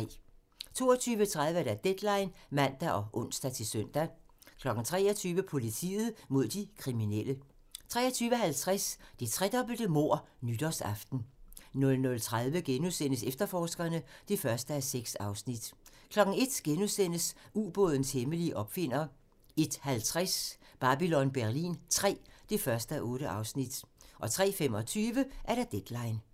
22:30: Deadline (man og ons-søn) 23:00: Politiet mod de kriminelle 23:50: Det tredobbelte mord nytårsaften 00:30: Efterforskerne (1:6)* 01:00: Ubådens hemmelige opfinder * 01:50: Babylon Berlin III (1:8) 03:25: Deadline (man)